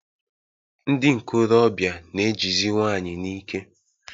Ndị nkorobịa na-ejizi nwanyị n'ike.